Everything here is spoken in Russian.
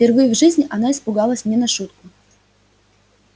впервые в жизни она испугалась не на шутку